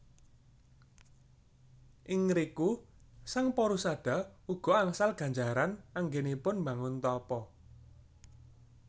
Ing riku sang Porusada uga angsal ganjaran anggènipun mbangun tapa